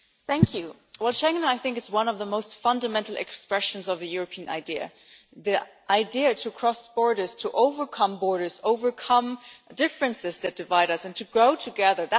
Mr President, I think Schengen is one of the most fundamental expressions of the European idea, the idea to cross borders, to overcome borders, overcome differences that divide us and to grow together.